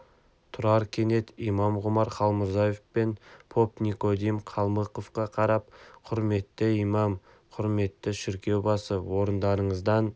тұрар кенет имам ғұмар халмұрзаев пен поп никодим калмыковқа қарап құрметті имам құрметті шіркеу басы орындарыңыздан